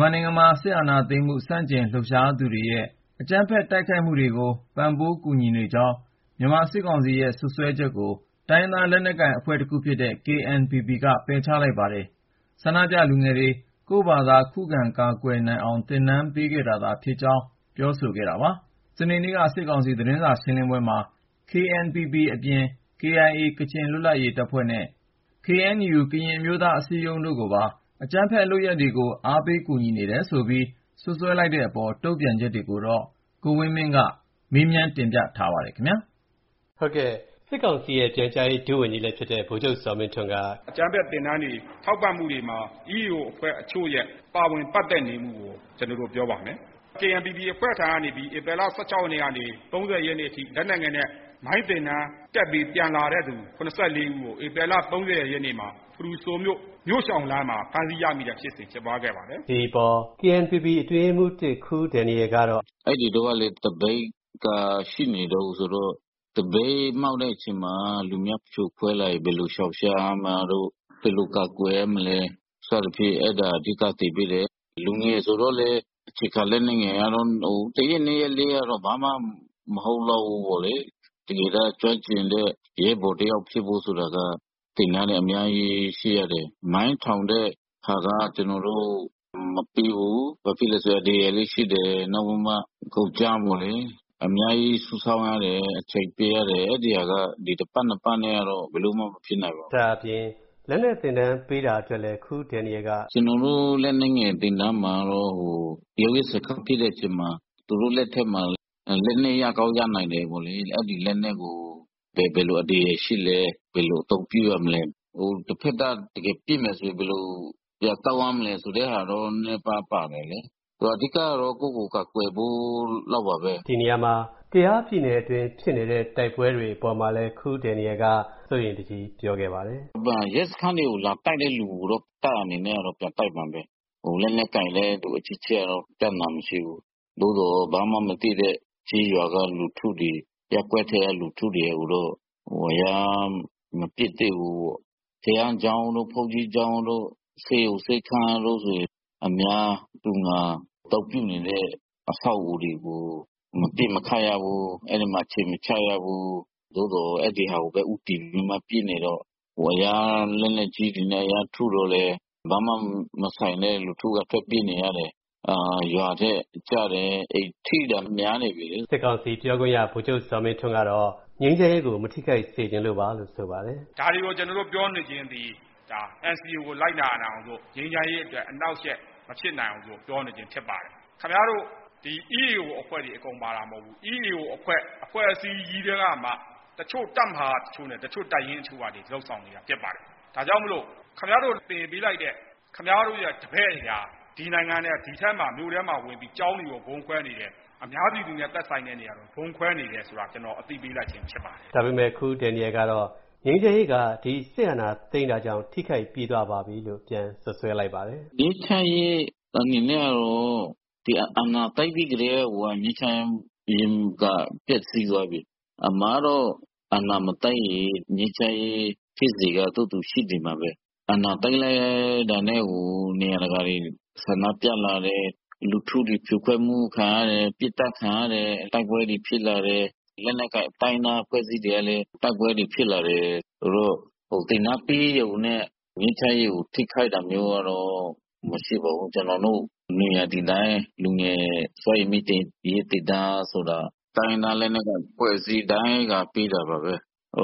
မြန်မာနိုင်ငံမှာ စစ်အာဏာသိမ်းမှု ဆန့်ကျင်လှုပ်ရှားသူတွေရဲ့ အကြမ်းဖက် တိုက်ခိုက်မှုတွေကို ပံ့ပိုးကူညီနေကြောင်း မြန်မာစစ်ကောင်စီရဲ့ စွပ်စွဲချက်ကို စွပ်စွဲခံခဲ့ရတဲ့ တိုင်းရင်းသား လက်နက်ကိုင်အဖွဲ့တခုဖြစ်တဲ့ KNPP က ပယ်ချလိုက်ပါတယ်။ ဆန္ဒပြလူငယ်တွေ ကိုယ့်ဘာသာ ခုခံကာကွယ်နိုင်အောင် သင်တန်းပေးခဲ့တာသာ ဖြစ်ကြောင်းလည်း ပြောဆိုခဲ့တာပါ။ စနေနေ့က စစ်ကောင်စီ သတင်းစာရှင်းလင်းပွဲမှာ KNPP အပြင် KIA ကချင်လွတ်မြောက်ရေးတပ်ဖွဲ့နဲ့ KNU ကရင်အမျိုးသားအစည်းအရုံးတို့ကိုပါ အကြမ်းဖက်လုပ်ရပ်တွေကို အားပေးနေတယ် ဆိုပြီး စွပ်စွဲလိုက်တဲ့အပေါ် တုံ့ပြန်ချက်ကိုတော့ ကိုဝင်းမင်းက ဆက်သွယ်မေးမြန်း တင်ပြထားပါတယ်။ စစ်ကောင်စီရဲ့ ပြန်ကြားရေး ဒုဝန်ကြီးလည်းဖြစ်တဲ့ ဗိုလ်ချုပ်ဇော်မင်းထွန်းက… “အကြမ်းဖက်သင်တန်းတွေ ထောက်ပံ့မှုတွေမှာ EAO အဖွဲ့အချို့ရဲ့ ပါဝင်ပတ်သက်နေမှုကို ကျနော်တို့ပြောပါမယ်။ KNPP အဖွဲ့ထံကနေ ဧပြီလ ၁၆ ရက်နေ့ကနေ ၃၀ ရက်နေ့အထိ လက်နက်ငယ်နဲ့ မိုင်းသင်တန်းတက်ပြီး ပြန်လာတဲ့သူ ၇၄ ဦးကို ဧပြီလ ၃၀ ရက်နေ့မှာ ဖရူဆိုမြို့ မြို့ရှောင်လမ်းမှာ ဖမ်းဆီးရမိတဲ့ဖြစ်စဉ် ဖြစ်ပွားခဲ့ပါတယ်။” လို့ ပြောပါတယ်။ ဒီအပေါ် KNPP အတွင်းရေးမှူး ၁ ခူးဒန်နီယယ်ကတော့ အခုလို တုံ့ပြန်ပါတယ်။ “အဲဒီတုန်းကလည်း သပိတ်က ရှိနေတုန်းဆိုတော့ သပိတ်မှောက်တဲ့အချိန်မှာ ဖြိုခွဲလိုက်ရင် ဘယ်လိုရှောင်ရှားမှာတို့၊ ဘယ်လိုကာကွယ်ရမလဲ စသဖြင့် အဲဒါ အဓိက သင်ပေးတယ်။ လူငယ်ဆိုတော့လည်း အခြေခံလက်နက်ငယ်ကတော့ တရက်နှစ်ရက်လေးကတော့ ဘာမှမဟုတ်လောက်ဘူးပေါ့လေ။ တကယ်တမ်း ကျွမ်းကျင်တဲ့ ရဲဘော်တယောက် ဖြစ်ဖို့ဆိုတာက သင်တန်းတွေ အများကြီး ရှိရတယ်။ မိုင်းထောင်တဲ့ဟာက ကျနော်တို့ မပေးဘူး။ ဘာဖြစ်လို့လဲဆိုတော့ အန္တရာယ်လည်း ရှိတယ်။ နောက်ပြီးတော့ ကုန်ကြမ်း အများကြီး စုဆောင်းရတယ်။ အချိန်ပေးရတယ်။ အဲဒီဟာက ဒီ တပတ်နှစ်ပတ်နဲ့ကတော့ ဘယ်လိုမှ မဖြစ်နိုင်ပါဘူး။” ဒါ့အပြင် လက်နက်သင်တန်း ပေးတာအတွက်လည်း ခူးဒန်နီယယ်က… “ကျနော်တို့ လက်နက်ငယ်သင်တန်းမှာကတော့ ရုန်းရင်းဆန်ခတ်ဖြစ်တဲ့အချိန်မှာ သူတို့လက်ထဲမှာ လက်နက်ရကောင်း ရနိုင်တယ်ပေ့ါလေ။ အဲဒီလက်နက်ကို ဘယ်လိုအန္တရာယ်ရှိလဲ၊ ဘယ်လိုအသုံးပြုရမလဲ၊ တဖက်က တကယ်ပစ်မယ်ဆိုရင် ဘယ်လို ပြန်သုံးရမလဲ ဆိုတာတော့ နည်းနည်းပါးပါး ပါတယ်လေ။ အဓိကတော့ ကိုယ့်ကိုယ်ကို ကာကွယ်ဖို့လောက်ပါပဲ။” လို့ ပြောပါတယ်။ ကယားပြည်နယ်အတွင်း ဖြစ်နေတဲ့ တိုက်ပွဲတွေ အပေါ်မှာလည်း ခူးဒန်နီယယ်က စိုးရိမ်တကြီး ပြောခဲ့ပါတယ်။ “ရဲစခန်းတွေကို လာတိုက်တဲ့လူကိုတော့ တပ်အနေနဲ့က ပြန်တိုက်မှာပဲ။ လက်နက်ကိုင်တဲ့လူ အချင်းချင်းကတော့ ပြဿနာမရှိဘူး။ သို့သော် ဘာမှမသိတဲ့ ကျေးရွာက လူထုတွေ၊ ရပ်ကွက်ထဲက လူထုတွေကိုတော့ ရမ်းမပစ်သင့်ဘူးပေါ့။ ဘုရားကျောင်းတို့၊ ဘုန်းကြီးကျောင်းတို့၊ ဆေးရုံ ဆေးခန်းတို့ဆိုရင် အများသူငါ အသုံးပြုနေတဲ့ အဆောက်အဦးတွေကို မပစ်ခတ်ရဘူး၊ အဲဒီမှာ အခြေမချရဘူး။ သို့သော် အဲဒီဟာကိုပဲ ဦးတည်ပြီးမှ ပစ်နေတော့ လက်နက်ကြီးတွေနဲ့ ရမ်းထုတော့လည်း ဘာမှမဆိုင်တဲ့ လူထုက ထွက်ပြေးနေရတယ်။ ရွာထဲကျတယ်၊ ထိတာများနေပြီလေ။” စစ်ကောင်စီပြောခွင့်ရ ဗိုလ်ချုပ်ဇော်မင်းထွန်းကတော့ ငြိမ်းချမ်းရေးကို မထိခိုက်စေချင်လို့ပါလို့ ဆိုပါတယ်။ “ဒါတွေကို ကျနော်တို့ ပြောနေခြင်းသည် NCA ကို လိုက်နာနိုင်အောင်လို့၊ ငြိမ်းချမ်းရေးအတွက် အနှောင့်အယှက် မဖြစ်နိုင်အောင်လို့ ပြောနေခြင်း ဖြစ်ပါတယ်။ ခင်ဗျားတို့ EAO အဖွဲ့တွေ အကုန်ပါတာမဟုတ်ဘူး။ EAO အဖွဲ့ အဖွဲ့အစည်းကြီးထဲကမှ တချို့ တပ်မဟာတချို့နဲ့ တချို့ တပ်ရင်းတချို့က လုပ်ဆောင်နေတာ ဖြစ်ပါတယ်။ ဒါကြောင့်မို့ ခင်ဗျားတို့ သင်ပေးလိုက်တဲ့ ခင်ဗျားတို့ရဲ့ တပည့်တွေဟာ ဒီနိုင်ငံထဲ ဒီထဲမှာ မြို့ထဲဝင်ပြီး ကျောင်းတွေကို ဗုံးခွဲနေတယ်၊ အများပြည်သူနဲ့ သက်ဆိုင်တဲ့ နေရာတွေမှာ ဗုံးခွဲနေတယ်ဆိုတာ ကျနော် အသိပေးလိုက်ခြင်း ဖြစ်ပါတယ်။” ဒါပေမယ့် ခူးဒန်နီယယ်ကတော့ ငြိမ်းချမ်းရေးက စစ်အာဏာသိမ်းတာကြောင့် ထိခိုက်ပြီးသွားပါပြီလို့ ပြန်စွပ်စွဲလိုက်ပါတယ်။ “ငြိမ်းချမ်းရေး အနေနဲ့ကတော့ ဒီအာဏာသိမ်းပြီးကတည်းက ငြိမ်းချမ်းရေးက ပျက်စီးသွားပြီ။ အမှန်ကတော့ အာဏာမသိမ်းရင် ငြိမ်းချမ်းရေး ဖြစ်စဉ်က သူ့ဟာသူ ရှိနေမှာပဲ။ အာဏာသိမ်းလိုက်တာနဲ့ နေရာတကာ ဆန္ဒပြလာတယ်၊ လူထုတွေ ဖြိုခွဲမှုခံရတယ်၊ ပစ်သတ်ခံရတယ်၊ တိုက်ပွဲတွေ ဖြစ်လာတယ်၊ လက်နက်ကိုင် တိုင်းရင်းသား အဖွဲ့အစည်းတွေကလည်း တိုက်ပွဲတွေ ဖြစ်လာတယ်။ ဆိုတော့ သင်တန်းပေးရုံနဲ့ ငြိမ်းချမ်းရေးကို ထိခိုက်တာမျိုးကတော့ မရှိပါဘူး။ ကျနော်တို့ နွေရာသီတိုင်း လူငယ်စွမ်းရည်မြှင့်တင်ရေး သင်တန်းဆိုတာ တိုင်းရင်းသား လက်နက်ကိုင် အဖွဲ့အစည်းတိုင်းက ပေးတာပါပဲ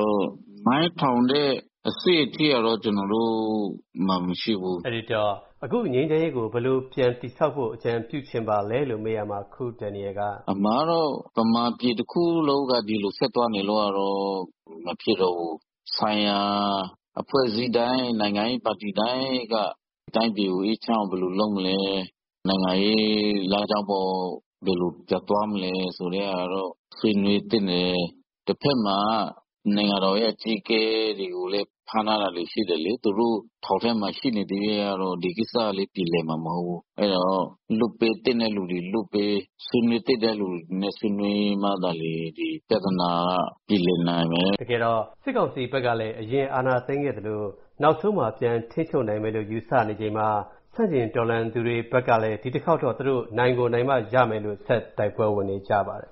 ။ မိုင်းထောင်တဲ့ အဆင့်အထိကတော့ ကျနော်တို့မှာ မရှိဘူး။” အခုငြိမ်းချမ်းရေးကို ဘယ်လို ပြန်တည်ဆောက်ဖို့ အကြံပြုချင်ပါလဲလို့ မေးရာမှာ ခူးဒန်နီယယ်က… “အမှန်ကတော့ ဗမာပြည်တခုလုံးက ဒီလိုဆက်သွားနေလို့ကတော့ မဖြစ်တော့ဘူး။ ဆိုင်ရာ အဖွဲ့အစည်းတိုင်း နိုင်ငံရေးပါတီတိုင်းက တိုင်းပြည်ကို အေးချမ်းအောင် ဘယ်လိုလုပ်မလဲ၊ နိုင်ငံရေးလမ်းကြောင်းပေါ် ဘယ်လိုပြန်သွားမလဲ ဆိုတဲ့ဟာတော့ ဆွေးနွေးသင့်တယ်။ တဖက်မှာ နိုင်ငံတော်ရဲ့ အကြီးအကဲတွေကိုလည်း ဖမ်းထားတာတွေ ရှိတယ်လေ။ သူတို့ ထောင်ထဲမှာ ရှိနေသရွေ့ကတော့ ဒီကိစ္စ ပြေလည်မှာမဟုတ်ဘူး။ အဲဒါကြောင့် လွှတ်ပေးသင့်တဲ့လူတွေ လွှတ်ပေး၊ ဆွေးနွေးသင့်တဲ့လူတွေနဲ့ ဆွေးနွေးမှသာလျှင် ဒီပြဿနာက ပြေလည်နိုင်မယ်။” လို့ ပြောပါတယ်။ တကယ်တော့ စစ်ကောင်စီဘက်ကလည်း အရင်အာဏာသိမ်းခဲ့သလို နောက်ဆုံးမှာ ပြန်ထိန်းချုပ်နိုင်မယ်လို့ ယူဆနေချိန်မှာ ဆန့်ကျင်တော်လှန်သူတွေဘက်ကလည်း ဒီတခေါက်တော့ သူတို့ နိုင်ကို နိုင်မှရမယ်လို့ ဆက်တိုက်ပွဲဝင်နေကြပါတယ်